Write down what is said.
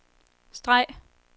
streg